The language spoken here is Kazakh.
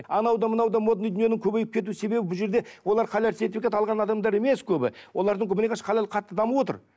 анау да мынау да модный дүниенің көбейіп кету себебі бұл жерде олар халал сертификат алған адамдар емес көбі олардың халал қатты дамып отыр